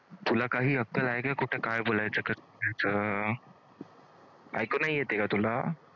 तुला काही अक्कल आहे काय कुठं काय बोलायचं? अं ऐकू नाही येतंय काय तुला?